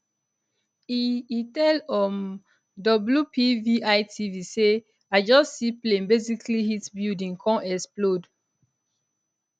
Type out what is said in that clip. e e tell um wpvitv say i just see plane basically hit building come explode um